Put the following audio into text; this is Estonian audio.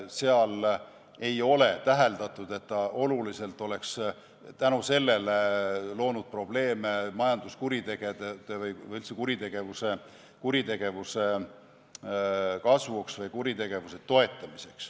Seal ei ole täheldatud, et oluliselt oleks tänu sellele tekkinud probleeme majanduskuritegude või üldse kuritegevuse kasvu või kuritegevuse toetamisega.